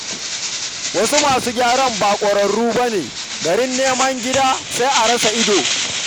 Wasu masu gyaran ba ƙwararru ba ne, garin neman gira, sai a rasa ido